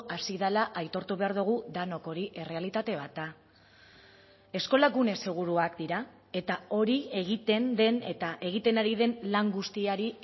hasi dela aitortu behar dugu denok hori errealitate bat da eskola gune seguruak dira eta hori egiten den eta egiten ari den lan guztiari